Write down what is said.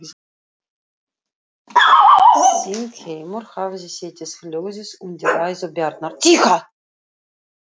Þingheimur hafði setið hljóður undir ræðu Bjarnar.